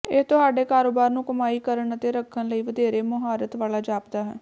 ਇਹ ਤੁਹਾਡੇ ਕਾਰੋਬਾਰ ਨੂੰ ਕਮਾਈ ਕਰਨ ਅਤੇ ਰੱਖਣ ਲਈ ਵਧੇਰੇ ਮੁਹਾਰਤ ਵਾਲਾ ਜਾਪਦਾ ਹੈ